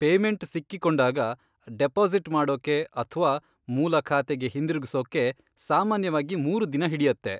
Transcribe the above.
Payment ಸಿಕ್ಕಿಕೊಂಡಾಗ, deposit ಮಾಡೋಕೆ ಅಥ್ವಾ ಮೂಲ ಖಾತೆಗೆ ಹಿಂದಿರುಗ್ಸೋಕೆ ಸಾಮಾನ್ಯವಾಗಿ ಮೂರು ದಿನ ಹಿಡ್ಯತ್ತೆ.